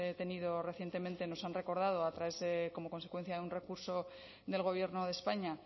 tenido recientemente nos han recordado a través de como consecuencia de un recurso del gobierno de españa